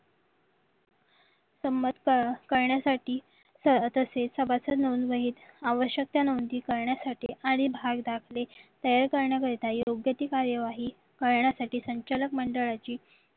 समांतर करण्यासाठी तसेच सभासद म्हणून आवश्यकता नोंदणी करण्यासाठी आणि भाव दाखले तयार करण्या करीत योग्य ती कार्यवाही करण्यासाठी संचालक मंडळाची